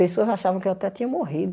Pessoas achavam que eu até tinha morrido.